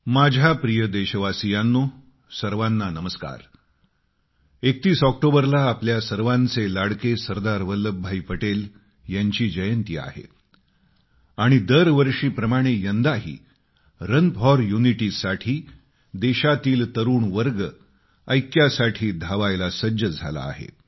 माझ्या प्रिय देशवासियांनो सर्वाना नमस्कार 31 ऑक्टोबरला आपल्या सर्वांचे लाडके सरदार वल्लभभाई पटेल यांची जयंती आहे आणि दरवर्षीप्रमाणे यंदाही रन फॉर युनिटी साठी देशातील तरुण वर्ग ऐक्यासाठी धावण्यास सज्ज झाला आहे